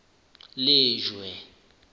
lejwe